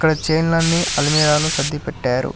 ఇక్కడ చీరలు అన్ని అల్మరాలో సర్ది పెట్టారు.